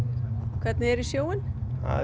hvernig er í sjóinn það er